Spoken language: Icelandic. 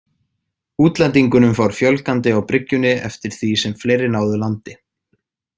Útlendingunum fór fjölgandi á bryggjunni eftir því sem fleiri náðu landi.